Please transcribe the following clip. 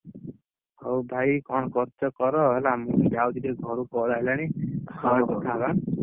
ହଉ ଭାଇ କଣ କରୁଛ କର ହେଲେ ଟିକେ ଘରୁ call ପରେ କଥା ହବା ଆନ୍ନ।